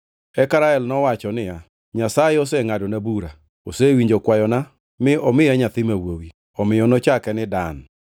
Eka Rael nowacho niya, “Nyasaye osengʼadona bura; osewinjo kwayona mi omiya nyathi ma wuowi.” Omiyo nochake ni Dan. + 30:6 Dan tiende ni Nyasaye Osengʼadona bura.